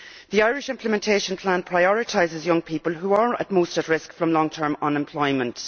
The Irish implementation plan prioritises young people who are most at risk from long term unemployment.